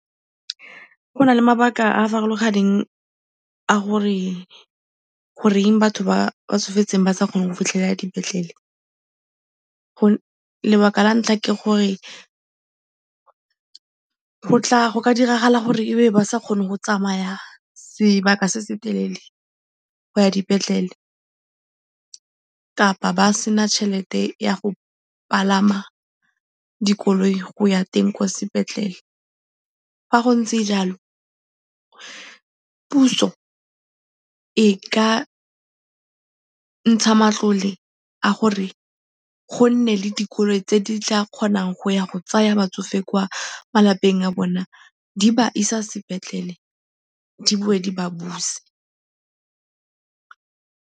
Go na le mabaka a a farologaneng a gore goreng batho ba ba tsofetseng ba sa kgone go fitlhelela dipetlele. Lebaka la ntlha ke gore go ka diragala gore e be ba sa kgone go tsamaya sebaka se se telele go ya dipetlele kapa ba se na tšhelete ya go palama dikoloi go ya teng kwa sepetlele. Fa go ntse jalo, puso e ka ntsha matlole a gore go nne le dikoloi tse di tla kgonang go ya go tsaya batsofe kwa malapeng a bona, di ba isa sepetlele, di boe di ba buse.